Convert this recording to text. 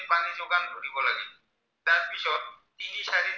তিনি চাৰি